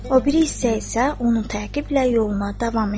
O biri hissə isə onun təqiblə yoluna davam etdi.